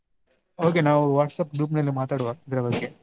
Okay ನಾವು WhatsApp group ನಲ್ಲಿ ಮಾತಾಡುವ ಇದ್ರ ಬಗ್ಗೆ.